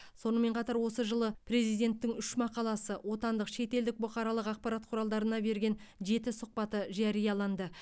сонымен қатар осы жылы президенттің үш мақаласы отандық шетелдік бұқаралық ақпарат құралдарына берген жеті сұхбаты жарияланды